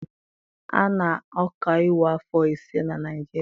A na-ọkaiwu afọ ise na Naịjirịa.